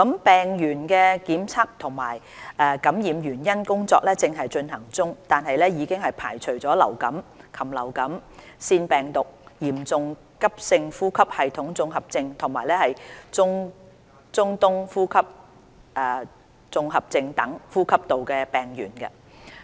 病原的檢測和感染原因的調查工作正在進行，但已排除流感、禽流感、腺病毒、嚴重急性呼吸系統綜合症及中東呼吸綜合症等呼吸道病原。